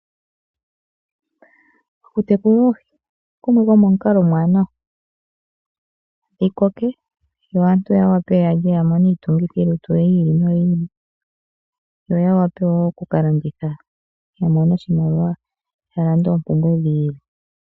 Oku tekula oohi okumwe komomukalo omuwanawa, dhi koke yo aantu ya wape ya lye, ya mone iitungithilutu yi ili noyi ili, yo ya wape wo oku landitha ya mone oshimaliwa, ya lande oompumbwe dhi ili.